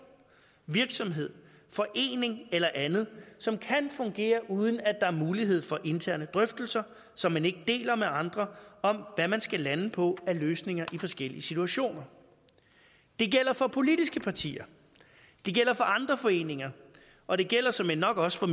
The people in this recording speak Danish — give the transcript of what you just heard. virksomhed forening eller andet som kan fungere uden at der er mulighed for interne drøftelser som man ikke deler med andre om hvad man skal lande på af løsninger i forskellige situationer det gælder for politiske partier det gælder for andre foreninger og det gælder såmænd nok også for